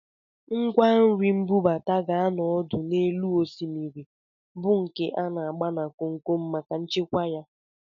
Ngwanri mbubata ga-anọ ọdụ n'elu osimiri, bụ nke a na-agba na komkom maka nchekwa ya